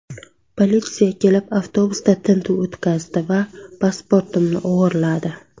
Politsiya kelib, avtobusda tintuv o‘tkazdi va pasportimni o‘g‘irladi.